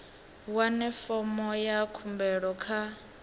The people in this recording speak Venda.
wane fomo ya khumbelo kha